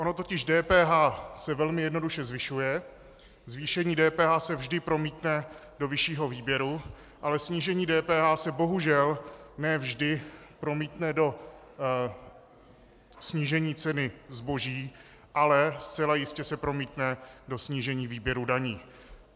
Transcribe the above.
Ono totiž DPH se velmi jednoduše zvyšuje, zvýšení DPH se vždy promítne do vyššího výběru, ale snížení DPH se bohužel ne vždy promítne do snížení ceny zboží, ale zcela jistě se promítne do snížení výběru daní.